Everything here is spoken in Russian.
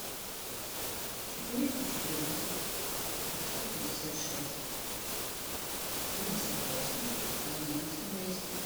четыреста четырнадцать пятьсот пятьдесят шесть семьдесят восемь одиннадцать двести